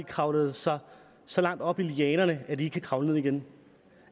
kravlet så så højt op i lianerne at de ikke kan kravle ned igen